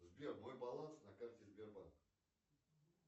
сбер мой баланс на карте сбербанк